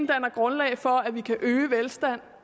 grundlag for at vi kan øge velstanden